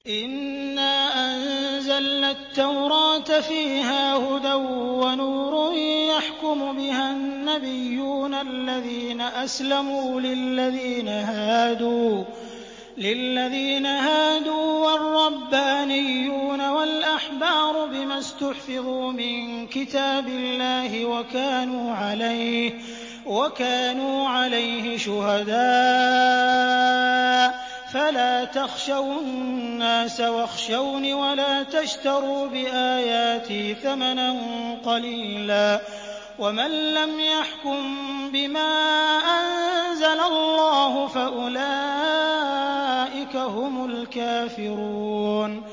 إِنَّا أَنزَلْنَا التَّوْرَاةَ فِيهَا هُدًى وَنُورٌ ۚ يَحْكُمُ بِهَا النَّبِيُّونَ الَّذِينَ أَسْلَمُوا لِلَّذِينَ هَادُوا وَالرَّبَّانِيُّونَ وَالْأَحْبَارُ بِمَا اسْتُحْفِظُوا مِن كِتَابِ اللَّهِ وَكَانُوا عَلَيْهِ شُهَدَاءَ ۚ فَلَا تَخْشَوُا النَّاسَ وَاخْشَوْنِ وَلَا تَشْتَرُوا بِآيَاتِي ثَمَنًا قَلِيلًا ۚ وَمَن لَّمْ يَحْكُم بِمَا أَنزَلَ اللَّهُ فَأُولَٰئِكَ هُمُ الْكَافِرُونَ